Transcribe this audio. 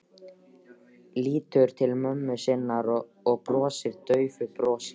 Lítur til mömmu sinnar og brosir daufu brosi.